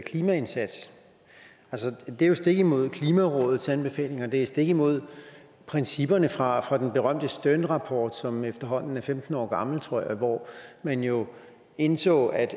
klimaindsats altså det er jo stik imod klimarådets anbefalinger og det er stik imod principperne fra fra den berømte sternrapport som efterhånden er femten år gammel tror jeg og hvor man jo indså at